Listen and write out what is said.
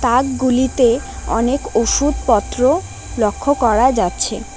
থাকগুলিতে অনেক ওষুধ পত্র লক্ষ করা যাচ্ছে।